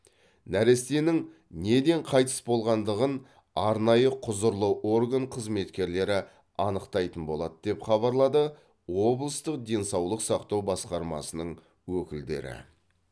нәрестенің неден қайтыс болғандығын арнайы құзырлы орган қызметкерлері анықтайтын болады деп хабарлады облыстық денсаулық сақтау басқармасының өкілдері